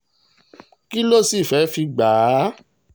kí ló sì fẹ́ẹ́ fi gbà á